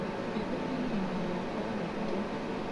Mbembe nĩ ĩrĩmagwo kwa uĩngi.